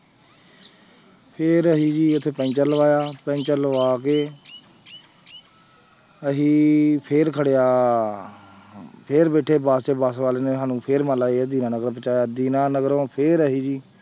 ਫਿਰ ਅਸੀਂ ਜੀ ਉੱਥੇ ਪੈਂਚਰ ਲਵਾਇਆ ਪੈਂਚਰ ਲਵਾ ਕੇ ਅਸੀਂ ਫਿਰ ਖੜਿਆ ਫਿਰ ਬੈਠੇ ਬਸ 'ਚ ਬਸ ਵਾਲੇ ਨੇ ਸਾਨੂੰ ਫਿਰ ਮੰਨ ਲਾ ਇਹ ਦੀਨਾ ਨਗਰ ਪਹੁੰਚਾਇਆ, ਦੀਨਾ ਨਗਰੋਂ ਫਿਰ ਅਸੀਂ ਜੀ